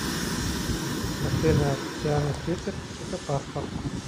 афина официальный твиттер психопаспорт